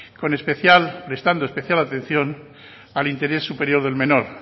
prestando especial atención al interés superior del menor